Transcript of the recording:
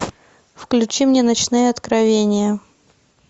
включи мне ночные откровения